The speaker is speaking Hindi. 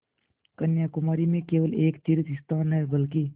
कन्याकुमारी में केवल एक तीर्थस्थान है बल्कि